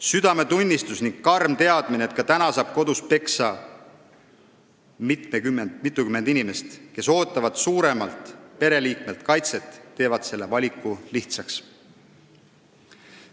Südametunnistus ja karm teadmine, et ka täna saab kodus peksa mitukümmend inimest, kes ootavad suuremalt pereliikmelt kaitset, teevad selle valiku lihtsaks.